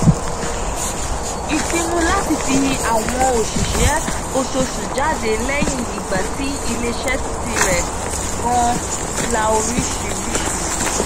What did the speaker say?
ìpinu láti fi àwọn òṣìṣẹ́ oṣooṣù jáde lẹ́yìn ìgbà tí iléeṣẹ́ tirẹ̀ gan la oríṣiríṣi.